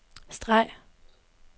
streg